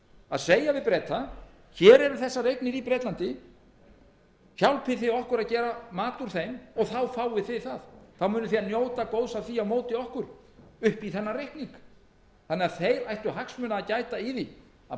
að segja við breta hér eru þessar eignir í bretlandi hjálpið okkur að gera mat úr þeim og þá fáið þið þetta þá munið þið njóta góðs af því á móti okkur upp í þennan reikning þeir ættu þannig hagsmuna að gæta í því að